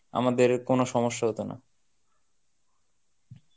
আমাদের কোনো সমস্যা হতো না.